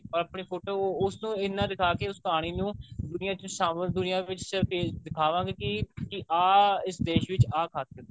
ਆਪਣੀ photo ਉਸ ਤੋਂ ਇੰਨਾ ਦਿਖਾ ਕੇ ਉਸ ਕਹਾਣੀ ਨੂੰ ਦੁਨੀਆ ਵਿੱਚ ਸ਼ਾਮਿਲ ਦੁਨੀਆ ਵਿੱਚ ਸਿਰਫ ਇਹ ਦਿਖਾਵਾਂਗੇ ਕਿ ਆਹ ਇਸ ਦੇਸ਼ ਵਿੱਚ ਆਹ ਖਾਤਿਰ ਐ